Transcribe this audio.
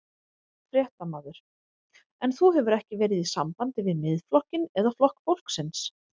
Fréttamaður: En þú hefur ekki verið í sambandi við Miðflokkinn eða Flokk fólksins?